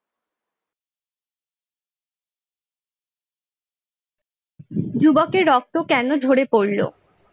যুবকের রক্ত কেন ঝরে পড়ল?